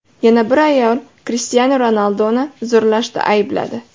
Yana bir ayol Krishtianu Ronalduni zo‘rlashda aybladi.